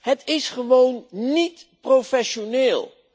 Het is gewoon niet professioneel.